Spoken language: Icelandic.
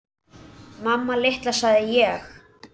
Mamma litla, sagði ég.